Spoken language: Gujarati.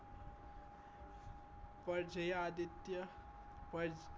પર્જાયા આદિત્ય પરજ